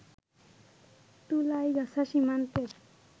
তুলইগাছা সীমান্তের